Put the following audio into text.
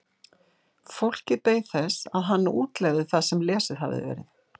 Fólkið beið þess að hann útlegði það sem lesið hafði verið.